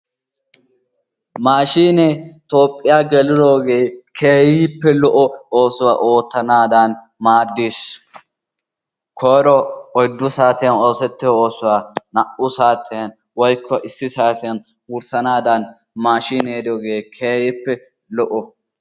Maashinee Toophiyaa geelidogee keehippe lo"o oosuwaa ootanadan maaddees. koyro oyddu saatiyaan ossetiyaa osuwaa na"u saatiyaan woykko issi saatiyaan wurssanadaan maashinee diyoogee keehippe lo"o.